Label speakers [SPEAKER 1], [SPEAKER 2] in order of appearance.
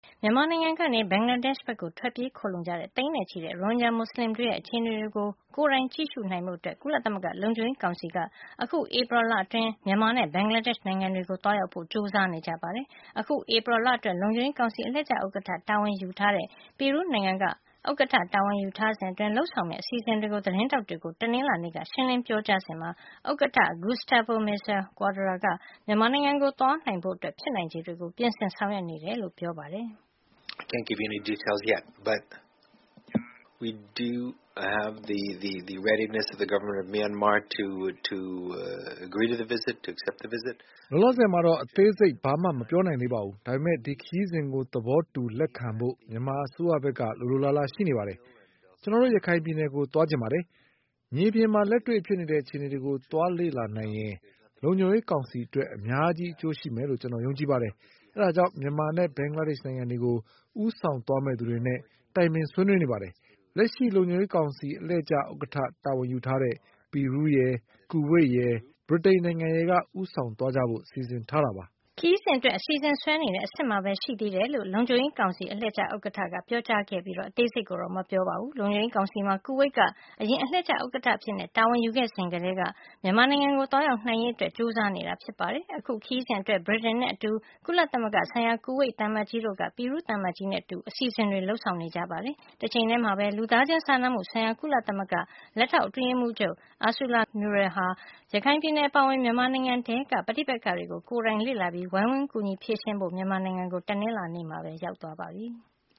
[SPEAKER 1] မြန်မာနိုင်ငံကနေ ဘင်္ဂလားဒေ့ရှ်ဘက် ထွက်ပြေးခိုလှုံကြတဲ့ သိန်းနဲ့ချီတဲ့ ရိုဟင်ဂျာမူစလင်တွေရဲ့ အခြေအနေကို ကိုယ်တိုင်ကြည့်နိုင်ဖို့ ကုလသမဂ္ဂ လုံခြုံရေးကောင်စီက အခုဧပြီလအတွင်း မြန်မာနဲ့ ဘင်္ဂလားဒေ့ရှ် နိုင်ငံတွေကို သွားရောက်ဖို့ ကြိုးစားနေကြပါတယ်။ အခု ဧပြီ လအတွက် လုံခြုံရေးကောင်စီ အလှည့်ကျဥက္ကဋ္ဌတာဝန်ယူတဲ့ ပီရူးနိုင်ငံက ဥက္ကဋ္ဌတာဝန်ယူထားစဉ်အတွင်း လုပ်ဆောင်မယ့် အစီအစဉ်တွေကို သတင်းထောက်တွေကို တနင်္လာနေ့က ရှင်းလင်းပြောကြားစဉ်မှာ ဥက္ကဋ္ဌ Gustavo Meza-Cuadra က မြန်မာနိုင်ငံကို သွားနိုင်ဖို့ ဖြစ်နိုင်ခြေတွေကိုပြင်ဆင် ဆောင်ရွက်နေတယ်လို့ ပြောသွား
[SPEAKER 2] တာဖြစ်ပါတယ်။ “
[SPEAKER 3] လောလောဆယ်မှာတော့ အသေးစိတ် ဘာမှ မပြောနိုင်သေးပါဘူး။ ဒါပေမဲ့ ဒီခရီးစဉ်ကို သဘောတူ။ လက်ခံဖို့ မြန်မာအစိုးရဖက်က လိုလိုလားလားရှိနေပါတယ်။ ကျွန်တော်တို့ ရခိုင်ပြည်နယ်ကို သွားချင်ပါတယ်။ မြေပြင်မှာလက်တွေ့ဖြစ်နေတဲ့ အခြေအနေတွေကို သွားလေ့လာနိုင်ရင် လုံခြုံရေးကောင်စီအတွက် အများကြီးအကျိုးရှိမယ်လို့ ကျွန်တော်တို့ယုံကြည်ပါတယ်။ ဒါကြောင့် မြန်မာနဲ့ ဘင်္ဂလားဒေရှ့်နိုင်ငံတွေကို ဦးဆောင်သွားမယ့်သူတွေနဲ့ တိုင်ပင်ဆွေးနွေးနေပါတယ်။ လက်ရှိလုံခြုံရေးကောင်စီအလှည့်ကျ ဥက္ကဋ္ဌတာဝန်ယူထားတဲ့ ပီရူးရယ်။ ကူဝိတ်ရယ် ဗြိတိန်နိုင်ငံရယ်က ဦးဆောင်သွားကြဖို့ စီစဉ်ထားကြပါတယ်။”
[SPEAKER 1] ခရီးစဉ်အတွက် အစီအစဉ်ဆွဲနေတဲ့ အဆင့်မှာပဲရှိသေးတယ်လို့ လုံခြုံရေးကောင်စီအလှည့်ကျဥက္ကဋ္ဌ Gustavo Meza-Cuadra ကပြောကြားခဲ့တာ ဖြစ်ပြီး အသေးစိတ်ကိုတော့ မပြောခဲ့ပါဘူး။ လုံခြုံရေးကောင်စီမှာ ကူဝိတ်က အရင်အလှည့်ကျဥက္ကဌအဖြစ ်တာဝန်ယူခဲ့စဉ်ကတည်းက မြန်မာနိုင်ငံကို သွားရောက်နိုင်ရေးအတွက် ကြိုးစားနေတာ ဖြစ်ပါတယ်။ အခု ခရီးစဉ်အတွက် ဗြိတိန်နဲ့အတူ ကုလသမဂ္ဂဆိုင်ရာ ကူဝိတ်သံအမတ်ကြီးတို့က ပီရူးသံအမတ်ကြီးနဲ့အတူ အစီစဉ်တွေ လုပ်ဆောင်နေတာ ဖြစ်ပါတယ်။ တချိန်ထဲမှာပဲ လူသားချင်းစာနာမှုဆိုင်ရာ ကုလသမဂ္ဂ လက်ထောက်အတွင်းရေးမှူးချုပ် Ursula Mueller ဟာ ရခိုင်ပြည်နယ်ပါအဝင် မြန်မာနိုင်ငံထဲက ပဋိပက္ခတွေကို ကိုယ်တိုင် လေ့လာပြီး၊ ဝိုင်းကူဖြေရှင်းပေးဖို့ မြန်မာနိုင်ငံကို တနင်္လာနေ့မှာ ရောက်ရှိသွားပါပြီ။